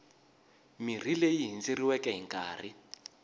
mirhi leyi hindzeriweke hi nkarhi